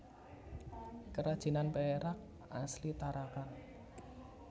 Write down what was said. Kerajinan perak asli Tarakan